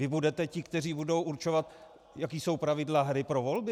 Vy budete ti, kteří budou určovat, jaká jsou pravidla hry pro volby?